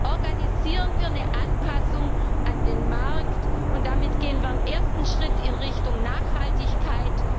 Organisieren wir eine Anpassung an den Markt, und damit gehen wir einen ersten Schritt in Richtung Nachhaltigkeit.